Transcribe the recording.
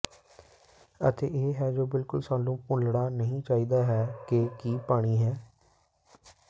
ਅਤੇ ਇਹ ਹੈ ਜੋ ਬਿਲਕੁਲ ਸਾਨੂੰ ਭੁੱਲਣਾ ਨਹੀ ਚਾਹੀਦਾ ਹੈ ਕਿ ਕੀ ਪਾਣੀ ਹੈ